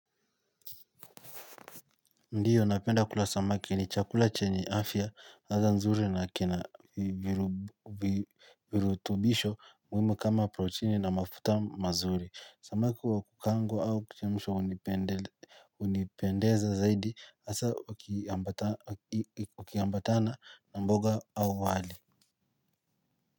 Ndiyo, napenda kula samaki ni chakula chenye afya, ladha nzuri na kina virutubisho muhimu kama proteini na mafuta mazuri. Samaki wa kukaangwa au kuchemshwa unipendeza zaidi hasa ukiambatana na mboga au wali.